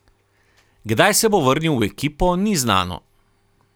Kdaj se bo vrnil v ekipo, ni znano.